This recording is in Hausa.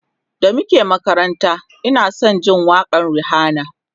da muke makaranta Ina San Jin waƙan Rihanna